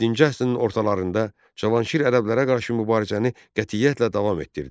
Yeddinci əsrin ortalarında Cavanşir ərəblərə qarşı mübarizəni qətiyyətlə davam etdirdi.